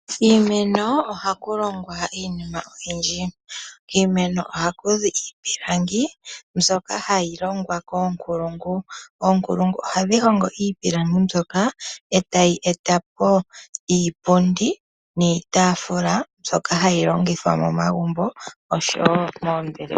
Kiimeno ohaku longwa iinima oyindji. Kiimeno ohaku zi iipilangi mbyoka hayi longwa koonkulungu. Oonkulungu ohadhi hongo iipilangi mbyoka etayi etapo iipundi niitaafula mbyoka hayi longithwa momagumbo oshowo moombelewa.